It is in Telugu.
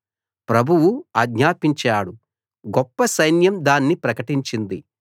ప్రభువు ఆజ్ఞాపించాడు గొప్ప సైన్యం దాన్ని ప్రకటించింది